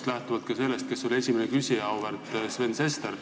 Ma lähtun ka sellest, kes oli esimene küsija – auväärt Sven Sester.